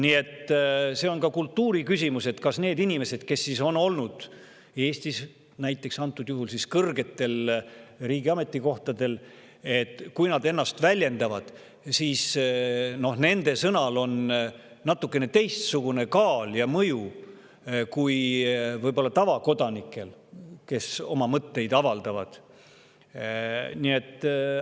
Nii et see on ka kultuuri küsimus, et kui need inimesed, kes on olnud Eestis näiteks antud juhul siis riigi kõrgetel ametikohtadel, ennast väljendavad, siis kas nende sõnal on natukene teistsugune kaal ja mõju kui oma mõtteid avaldavate tavakodanike.